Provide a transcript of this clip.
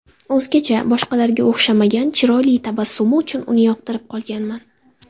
O‘zgacha, boshqalarga o‘xshamagan, chiroyli tabassumi uchun uni yoqtirib qolganman.